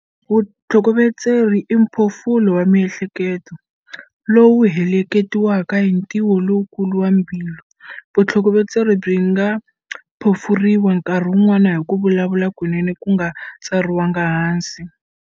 Vutlhokovetseri i mphofulo wa miehleketo, lowu heleketiwaka hi ntwiwo lowukulu wa mbilu. Vutlhokovetseri byi nga phofuriwa nkarhi wun'wana hi ku vulavula kunene ku nga tsariwanga hansi.